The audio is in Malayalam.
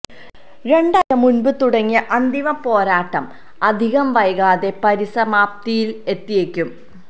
രണ്ടാഴ്ച മുന്പു തുടങ്ങിയ അന്തിമ പോരാട്ടം അധികം വൈകാതെ പരിസമാപ്തിയില് എത്തിയേക്കും